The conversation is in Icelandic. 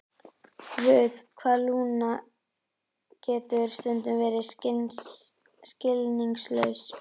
Guð, hvað Lúna getur stundum verið skilningslaus.